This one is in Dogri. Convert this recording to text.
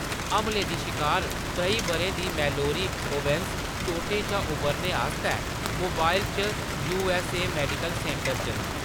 हमले दी शिकार त्रेई ब'रें दी मैलोरी ओवेन्स चोटें शा उबरने आस्तै मोबाइल च U. S. A. Medical centre च न।